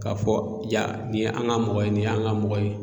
K'a fɔ yan nin yi an ka mɔgɔ ye nin y'an ka mɔgɔ ye.